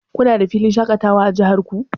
Kuna da filin shaƙatawa a jihar ku?